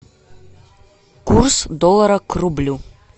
курс доллара к рублю